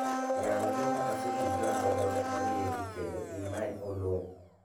yaw joma asetudra godo moriedi kendo imany Oloo